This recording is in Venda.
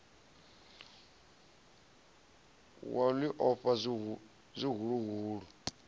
wa u ḽi ofha zwihuluhulu